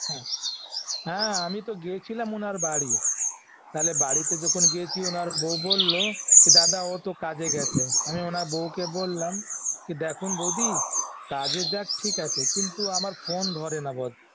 হ্যাঁ হ্যাঁ আমি তো গেছিলাম ওনার বাড়ি তাহলে বাড়িতে যখন গেছি ওনার বউ বলল দাদা ও তো কাজে গেছে আমি ওনার বউকে বললাম কি দেখুন বৌদি কাজে যাক ঠিক আছে কিন্তু আমার phone ধরে না